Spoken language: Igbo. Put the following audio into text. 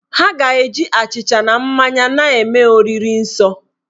Ha ga- eji achịcha na mmanya na-eme oriri nsọ